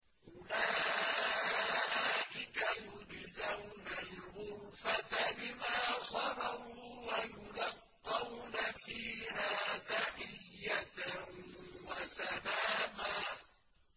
أُولَٰئِكَ يُجْزَوْنَ الْغُرْفَةَ بِمَا صَبَرُوا وَيُلَقَّوْنَ فِيهَا تَحِيَّةً وَسَلَامًا